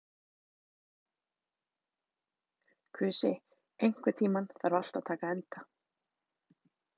Kusi, einhvern tímann þarf allt að taka enda.